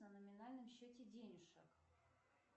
на номинальном счете денежек